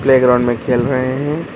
Background में खेल रहे हैं।